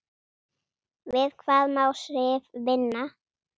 Við hvað má Sif vinna?